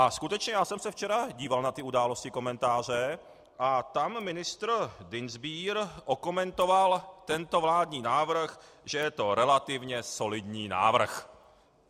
A skutečně, já jsem se včera díval na ty Události, komentáře a tam ministr Dienstbier okomentoval tento vládní návrh, že je to relativně solidní návrh.